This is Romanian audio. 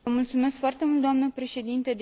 Vă mulțumesc foarte mult, doamnă președinte.